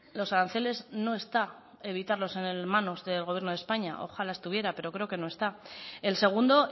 los aranceles no está evitarlos en manos del gobierno de españa ojalá estuviera pero creo que no está el segundo